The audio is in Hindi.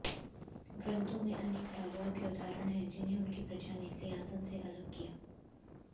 ग्रन्थों में अनेक राजाओं के उदाहरण है जिन्हें उनकी प्रजा ने सिंहासन से अलग किया